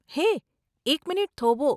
હે, એક મિનિટ થોભો.